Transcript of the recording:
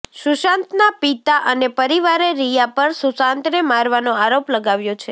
સુશાંતના પિતા અને પરિવારે રિયા પર સુશાંતને મારવાનો આરોપ લગાવ્યો છે